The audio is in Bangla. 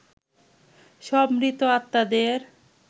সব মৃত আত্মাদের